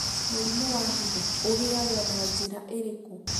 Mũrimũ wa higo, ũgĩagũo na njĩra ĩrĩkũ?